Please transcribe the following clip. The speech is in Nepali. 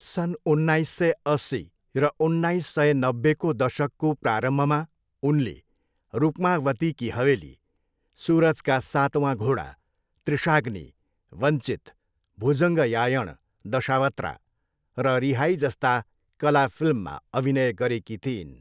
सन् उन्नाइस सय अस्सी र उन्नाइस सय नब्बेको दशकको प्रारम्भमा उनले रुक्मावती की हवेली, सुरज का सत्वन घोडा, त्रिशाग्नी, वञ्चित, भुजङ्गयायण दशावत्रा र रिहाई जस्ता कला फिल्ममा अभिनय गरेकी थिइन्।